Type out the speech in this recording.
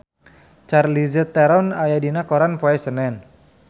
Charlize Theron aya dina koran poe Senen